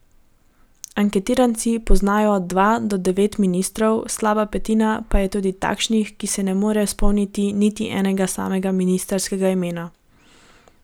Anketiranci poznajo od dva do devet ministrov, slaba petina pa je tudi takšnih, ki se ne more spomniti niti enega samega ministrskega imena.